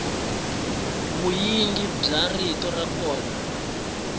vunyingi bya rito ra kona